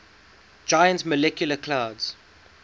giant molecular clouds